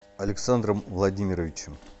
александром владимировичем